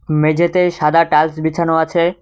মেঝেতে সাদা টালস বিছানো আছে।